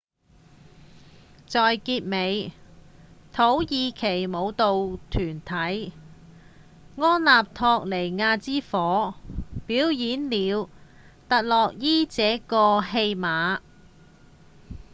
在結尾土耳其舞蹈團體「安納托利亞之火」表演了「特洛伊」這個戲碼